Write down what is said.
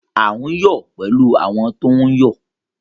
À n yọ pẹ̀lú àwọn tó ń yọ